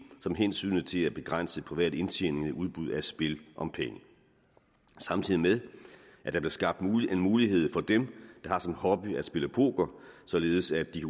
samt hensynet til at begrænse privat indtjening ved udbud af spil om penge samtidig med at der blev skabt en mulighed for dem der har som hobby at spille poker således at de